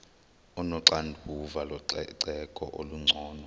onoxanduva lococeko olungcono